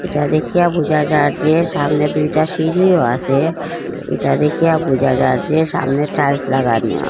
এটা দেখিয়া বুঝা যার যে সামনে দুইটা সিঁড়িও আসে এটা দেখিয়া বুঝা যার যে সামনে টাইলস লাগানিও আ --